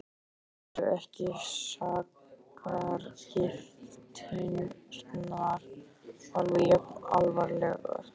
Eru ekki sakargiftirnar alveg jafn alvarlegar?